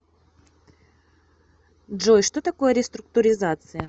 джой что такое реструктуризация